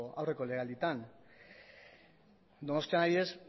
aurreko lege aldietan donostian adibidez